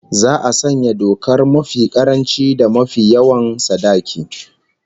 Za'a sanya dokar mafi karanci da mafi yawan sadaki